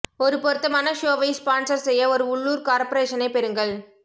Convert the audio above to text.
ஒரு பொருத்தமான ஷோவை ஸ்பான்சர் செய்ய ஒரு உள்ளூர் கார்பரேஷனைப் பெறுங்கள்